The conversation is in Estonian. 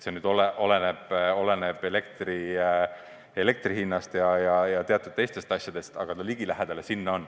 See oleneb elektri hinnast ja teatud teistest asjadest, aga ligilähedale see on.